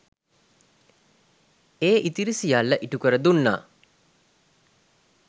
ඒ ඉතිරි සියල්ල ඉටු කර දුන්නා.